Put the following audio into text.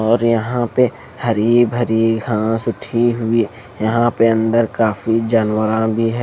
और यहां पे हरी भरी घास उठी हुई यहां पे अंदर काफी जनवरा भी है।